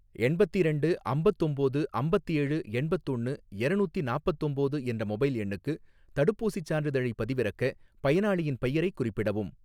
எண்பத்திரண்டு அம்பத்தொம்போது அம்பத்தேழு எண்பத்தொன்னு எரநூத்தி நாப்பத்தொம்போது என்ற மொபைல் எண்ணுக்கு தடுப்பூசிச் சான்றிதழைப் பதிவிறக்க, பயனாளியின் பெயரைக் குறிப்பிடவும்.